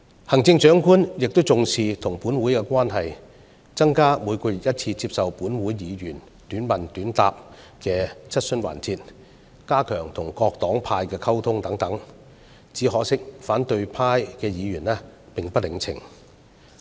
行政長官也重視與本會的關係，增加每月1次接受本會議員短問短答的質詢時間，加強與各黨派的溝通等，只可惜反對派議員並不領情。